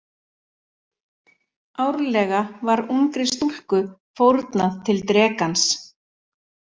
Árlega var ungri stúlku fórnað til drekans.